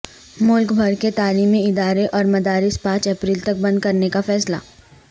ملک بھر کے تعلیمی ادارے اور مدارس پانچ اپریل تک بند کرنے کا فیصلہ